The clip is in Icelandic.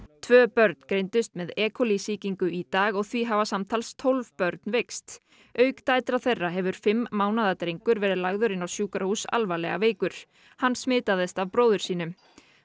tvö börn greindust með e coli sýkingu í dag og því hafa samtals tólf börn veikst auk dætra þeirra hefur fimm mánaða drengur verið lagður inn á sjúkrahús alvarlega veikur hann smitaðist af bróður sínum